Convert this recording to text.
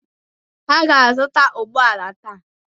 Aga m azụta ụgbọ ala taa.